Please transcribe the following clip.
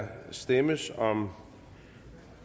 der stemmes om